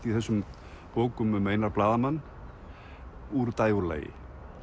í þessum bókum um Einar blaðamann úr dægurlagi